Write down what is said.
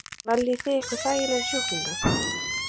Karen: Veljið þið ykkur þægilegri sjúklinga?